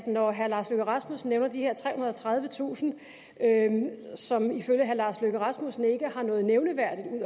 når herre lars løkke rasmussen nævner de her trehundrede og tredivetusind som ifølge herre lars løkke rasmussen ikke har noget nævneværdigt